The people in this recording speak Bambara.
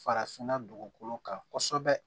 Farafinna dugukolo kan kosɛbɛ